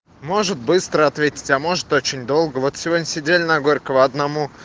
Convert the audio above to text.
может быстро ответить а может очень долго вот сегодня сидели на горького одному